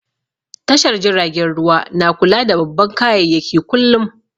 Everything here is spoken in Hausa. Tashar jiragen ruwa na kula da babban kayayyaki kullum